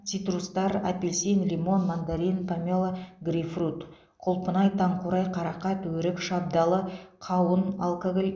цитрустар апельсин лимон мандарин помело грейпфрут құлпынай таңқурай қарақат өрік шабдалы қауын алкоголь